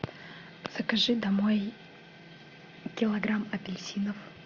закажи домой килограмм апельсинов